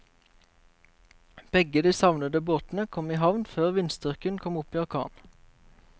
Begge de savnede båtene kom i havn før vindstyrken kom opp i orkan.